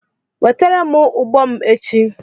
Wetere m ụbọ m echi!